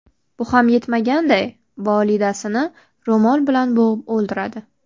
Bu ham yetmaganday, volidasini ro‘mol bilan bo‘g‘ib o‘ldiradi.